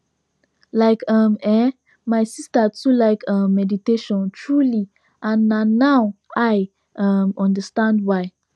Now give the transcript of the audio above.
like um eh my sister too like um meditation truely and na now i um understand why